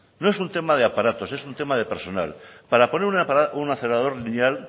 no es un tema de aparatos es un tema de personal para poner una acelerador lineal